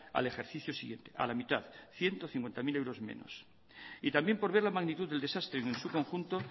al ejercicio siguiente a la mitad ciento cincuenta mil euros menos y también por ver la magnitud del desastre en su conjunto